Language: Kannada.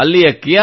ಅಲ್ಲಿಯ ಕ್